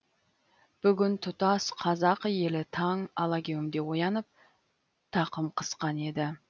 бүгін тұтас қазақ елі таң алагеуімде оянып тақым қысқан еді